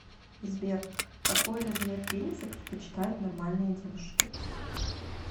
сбер какой размер пениса предпочитают нормальные девушки